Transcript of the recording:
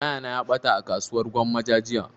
Waya na ya ɓata a kasuwar gwammaja jiya